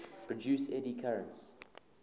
produce eddy currents